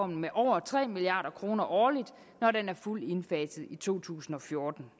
med over tre milliard kroner årligt når den er fuldt indfaset i to tusind og fjorten